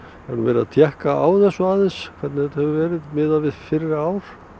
hef nú verið að tékka á þessu aðeins hvernig þetta hefur verið miðað við fyrri ár